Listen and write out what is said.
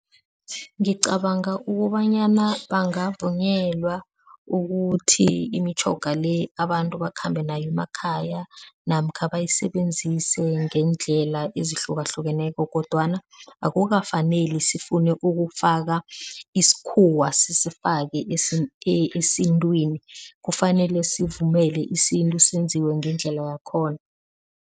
Ngicabanga ukobanyana bangavunyelwa ukuthi imitjhoga le abantu bakhambe nayo emakhaya namkha bayisebenzise ngeendlela ezihlukahlukeneko kodwana akukafaneli sifune ukufaka isikhuwa sisifake esintwini. Kufanele sivumele isintu senziwe ngendlela yakhona.